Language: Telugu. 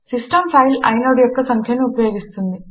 సిస్టం ఫైల్ ఐనోడ్ యొక్క సంఖ్యను ఉపయోగిస్తుంది